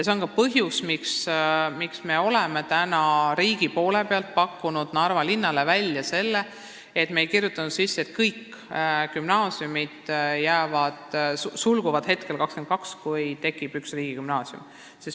See on ka põhjus, miks riik on täna pakkunud Narva linnale võimaluse, et me ei pane kirja, et kõik gümnaasiumid sulguvad 2022, kui tekib see üks riigigümnaasium.